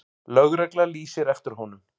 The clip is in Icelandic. Lögregla lýsir eftir honum.